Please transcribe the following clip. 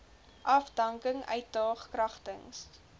afdanking uitdaag kragtens